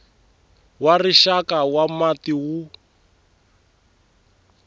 wa rixaka wa mati wu